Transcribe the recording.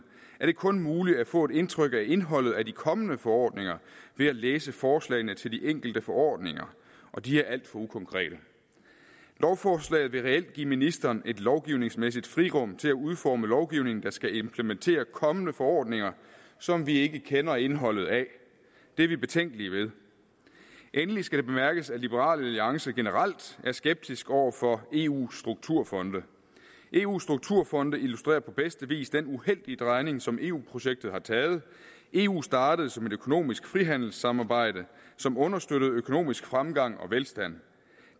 er det kun muligt at få et indtryk af indholdet af de kommende forordninger ved at læse forslagene til de enkelte forordninger og de er alt for ukonkrete lovforslaget vil reelt give ministeren et lovgivningsmæssigt frirum til at udforme lovgivning der skal implementere kommende forordninger som vi ikke kender indholdet af det er vi betænkelige ved endelig skal det bemærkes at liberal alliance generelt er skeptisk over for eus strukturfonde eus strukturfonde illustrerer på bedste vis den uheldige drejning som eu projektet har taget eu startede som et økonomisk frihandelssamarbejde som understøttede økonomisk fremgang og velstand